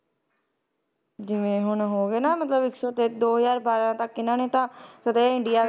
ਜਿਵੇਂ ਹੁਣ ਹੋ ਗਏ ਮਤਲਬ ਇੱਕ ਸੌ ਤੇ ਦੋ ਹਜ਼ਾਰ ਬਾਰਾਂ ਤੱਕ ਇਹਨਾਂ ਨੇ ਤਾਂ ਸਦਾ ਹੀ ਇੰਡੀਆ